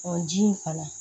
Ɔ ji in fana